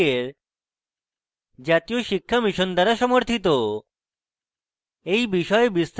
এই বিষয়ে বিস্তারিত তথ্য এই link প্রাপ্তিসাধ্য